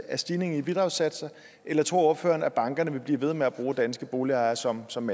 af stigningen i bidragssatserne eller tror ordføreren at bankerne vil blive ved med at bruge danske boligejere som som